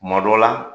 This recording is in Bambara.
Kuma dɔ la